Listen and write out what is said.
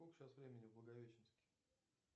сколько сейчас времени в благовещенске